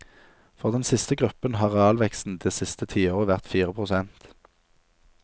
For den siste gruppen har realveksten det siste tiåret vært fire prosent.